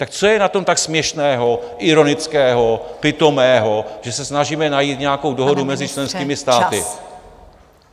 Tak co je na tom tak směšného, ironického, pitomého, že se snažíme najít nějakou dohodu mezi členskými státy?